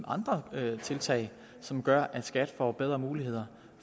andre tiltag som gør at skat får bedre muligheder